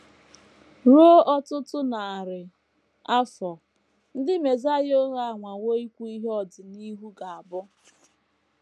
RUO ọtụtụ narị afọ, ndị mesaịa ụgha anwawo ikwu ihe ọdịnihu ga - abụ.